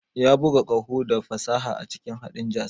Ya buga ƙaho da fasaha a cikin haɗin jazz.